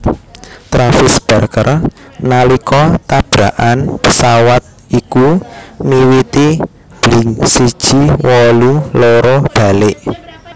Travis Barker nalika tabrakan pésawat iku miwiti Blink siji wolu loro balik